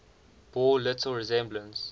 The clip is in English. bore little resemblance